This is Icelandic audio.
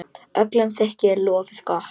Öllum þykir lofið gott.